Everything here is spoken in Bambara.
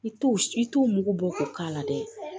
I t'o i t'o mugu bɔ k'o k'a la dɛ